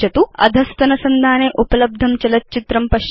अधस्तनसंधाने उपलब्धं चलच्चित्रं पश्यतु